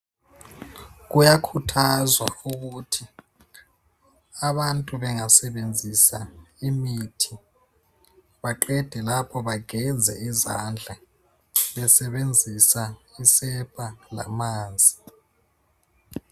Kuyakhuthazwa ukuthi abantu bengasebenzisa imithi baqede lapho bageze izandla besebenzisa isepa lamanzi.